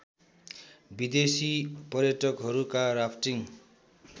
विदेसी पर्यटकहरूका राफ्टिङ्